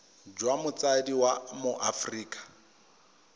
jwa motsadi wa mo aforika